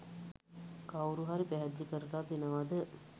කවුරු හරි පැහැදිලි කරලා දෙනවද?